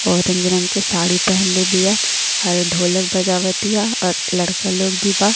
Orange रंग के साड़ी पहैंली बिया और ढोलक बजावत तिया और लड़का लोग भी बा।